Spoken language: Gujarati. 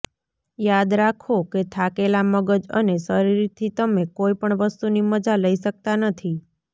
યાદ રાખો કે થાકેલા મગજ અને શરીરથી તમે કોઇપણ વસ્તુની મજા લઇ શકતા નથી